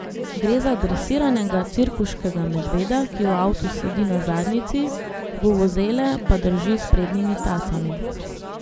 Gre za dresiranega, cirkuškega medveda, ki v avtu sedi na zadnjici, vuvuzele pa drži s prednjimi tacami.